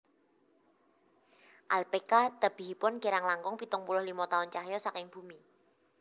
Alphekka tebihipun kirang langkung pitung puluh limo taun cahya saking bumi